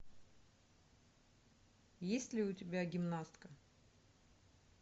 есть ли у тебя гимнастка